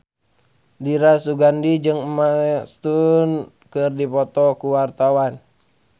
Dira Sugandi jeung Emma Stone keur dipoto ku wartawan